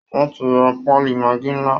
Wọ́n ti ra pálí maggi ńlá